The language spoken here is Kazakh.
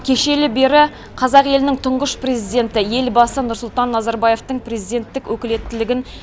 кешелі бері қазақ елінің тұңғыш президенті елбасы нұрсұлтан назарбаевтың президенттік өкілеттілігін